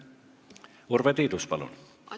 Urve Tiidus, palun!